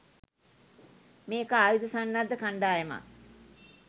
මේක ආයුධ සන්නද්ධ කණ්ඩායමක්.